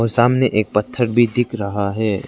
सामने एक पत्थर भी दिख रहा है।